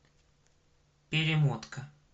перемотка